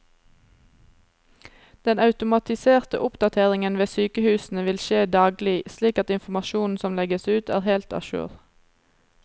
Den automatiserte oppdateringen ved sykehusene vil skje daglig, slik at informasjonen som legges ut er helt a jour.